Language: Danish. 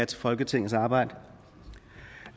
til folketingets arbejde